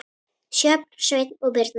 Sjöfn, Sveinn og Birna.